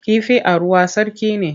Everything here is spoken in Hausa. Kifi a ruwa sarki ne.